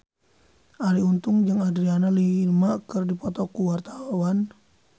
Arie Untung jeung Adriana Lima keur dipoto ku wartawan